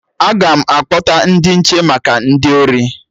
Aga m akpọta ndị nche maka ndị ori